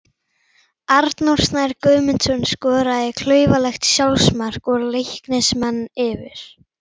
Arnór Snær Guðmundsson skoraði klaufalegt sjálfsmark og Leiknismenn yfir.